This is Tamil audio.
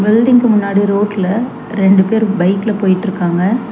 பில்டிங்க்கு முன்னாடி ரோட்ல ரெண்டு பேரு பைக்ல போயிட்ருக்காங்க.